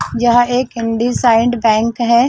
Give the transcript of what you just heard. यह एक N. D. साइंड बैंक है।